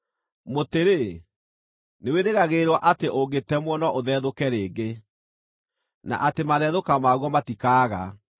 “Mũtĩ-rĩ, nĩwĩrĩgagĩrĩrwo atĩ ũngĩtemwo, no ũthethũke rĩngĩ, na atĩ mathethũka maguo matikaaga.